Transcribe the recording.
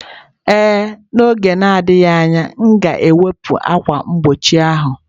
Ee, n'oge na-adịghị anya, m ga-ewepụ ákwà mgbochi ahụ